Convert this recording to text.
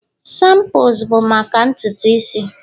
shampoos bụ maka ntutu isi